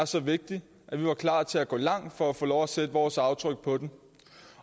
så vigtig at vi var klar til at gå langt for at få lov til at sætte vores aftryk på den